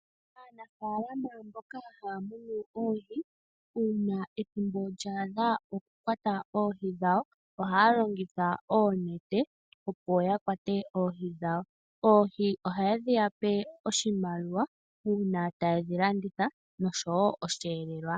Aanafaalama mboka haya tekula oohi uuna ethimbo lya adha lyoku kwata oohi dhawo ohaya longitha oonete opo yakwate oohi dhawo. Oohi ohadhiyape oshimaliwa uuna tayedhi landitha noshowo osheelelwa.